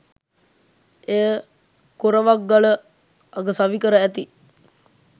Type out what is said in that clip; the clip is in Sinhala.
එය කොරවක්ගල අග සවිකර ඇති